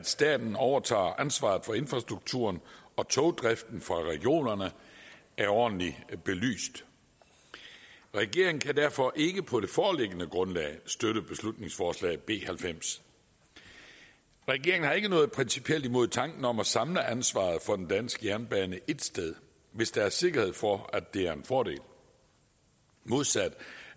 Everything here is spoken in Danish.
staten overtage ansvaret for infrastrukturen og togdriften fra regionerne er ordentligt belyst regeringen kan derfor ikke på det foreliggende grundlag støtte beslutningsforslag nummer b halvfems regeringen har ikke noget principielt imod tanken om at samle ansvaret for den danske jernbane et sted hvis der er sikkerhed for at det er en fordel modsat